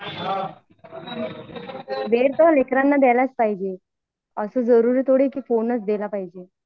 वेळ तर लेकरांना द्यायलाच पाहिजे अस जरुरी थोडं आहे कि फोनच दिला पाहिजे